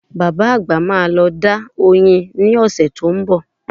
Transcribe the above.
Bàbá àgbà máa lọ dá oyin ní ọ̀sẹ̀ tó ń bọ̀